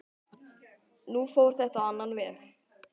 Nú fór þetta á annan veg.